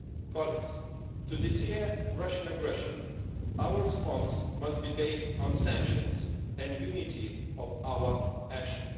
Colleagues, to deter Russian aggression, our response must be based on sanctions and unity of our action.